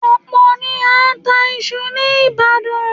Ọ̀pọ̀ ni a ń ta iṣu ní Ìbàdàn